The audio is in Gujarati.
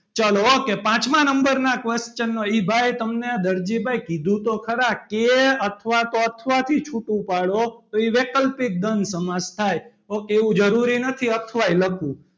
ચાલો ok પાંચમા number ના question નો એ ભાઈ તમને દરજીભાઈ કીધું તો ખરા કે અથવા તો અથવા થી છૂટું પાડો તો એ વૈકલ્પિક દ્વંદ સમાસ થાય ok એવું જરૂરી નથી અથવા એ લખવું.